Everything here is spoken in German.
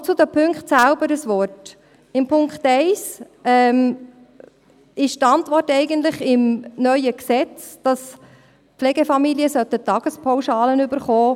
Noch zu den Punkten selbst ein Wort: Zum Punkt 1 ist die Antwort, dass Pflegefamilien Tagespauschalen erhalten sollten, eigentlich im neuen Gesetz enthalten.